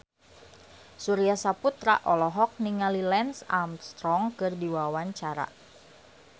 Surya Saputra olohok ningali Lance Armstrong keur diwawancara